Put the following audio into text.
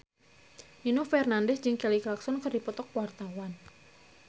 Nino Fernandez jeung Kelly Clarkson keur dipoto ku wartawan